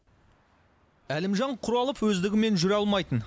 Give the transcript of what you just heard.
әлімжан құралов өздігімен жүре алмайтын